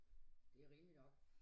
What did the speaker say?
Det er rimeligt nok